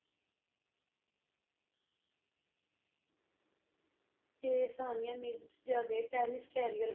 ਤੇ ਸਾਨੀਆ ਮਿਰਜ਼ਾ ਦੇ tennis career